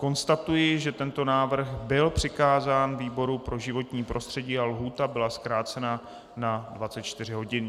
Konstatuji, že tento návrh byl přikázán výboru pro životní prostředí a lhůta byla zkrácena na 24 hodin.